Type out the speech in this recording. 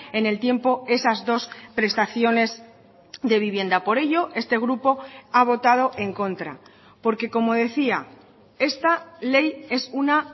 en el tiempo esas dos prestaciones de vivienda por ello este grupo ha votado en contra porque como decía esta ley es una